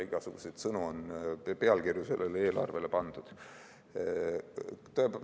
Igasuguseid pealkirju on sellele eelarvele pandud.